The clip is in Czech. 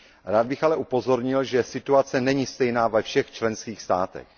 Rád bych ale upozornil, že situace není stejná ve všech členských státech.